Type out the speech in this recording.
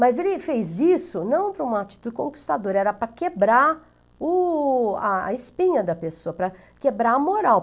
Mas ele fez isso não para uma atitude conquistadora, era para quebrar o a a espinha da pessoa, para quebrar a moral.